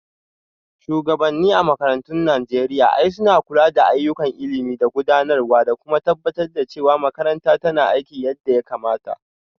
Shugabanni a makarantun Najeriya l suna kula da ayyukan ilimi da gudanarwa, da kuma tabbatar da cewa makarantar tana aiki yadda ya kamata.